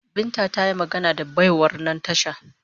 Binta ta yi magana da baiwar nan tasha